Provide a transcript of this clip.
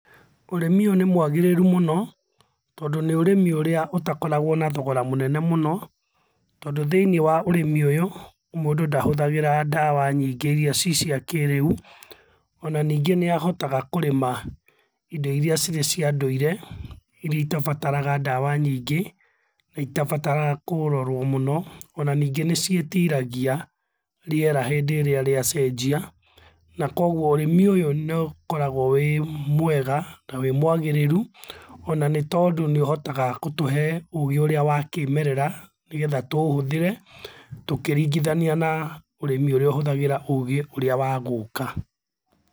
Ũrĩmĩ ũyũ nĩ mwagĩrĩrũ mũno tondũ nĩ ũrĩmĩ ũrĩa ũtakoragwo na thogora mũnene mũno, tondũ thĩiniĩ wa ũrĩmĩ ũyũ mũndũ ndahũthagĩra ndawa nyingĩ iria cicia kĩrĩũ onaningĩ nĩahotaga kũrĩma indo iria cicia ndũire, iria itabataraga ndawa nyingĩ itabataraga kũrorwo mũno onaningĩ nĩciĩtiragia rĩera hĩndĩrĩa ria cenjia na kogũo ũrĩmi ũyũ nĩũkoragwo wĩmwega na wĩmwagĩrĩrũ onanĩtondũ nĩũhotaga gũtũhe ũgĩ ũrĩa wa kĩmerera nĩgetha tũũhũthĩre tũkĩringithania na ũrĩmĩ ũrĩa ũhũthagĩra ũgĩ ũrĩa wa gũka.